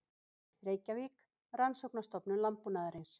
Reykjavík, Rannsóknastofnun landbúnaðarins.